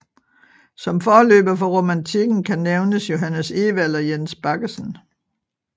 Som forløber for romantikken kan nævnes Johannes Ewald og Jens Baggesen